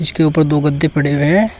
इसके ऊपर दो गद्दे पड़े हुए हैं।